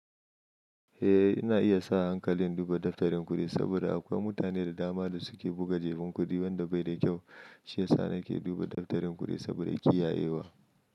Eh, ina iya sa hankali duba daftarin kuɗi saboda akwai mutane da dama da suke buga jabun kuɗi wanda bai da kyau. Shi ya sa nake duba daftarin kuɗi saboda kiyayewa.